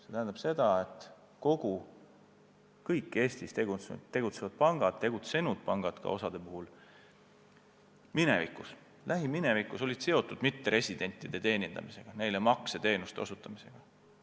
Pean silmas seda, et kõik Eestis tegutsevad või tegutsenud pangad on lähiminevikus seotud olnud mitteresidentide teenindamisega, neile makseteenuste osutamisega.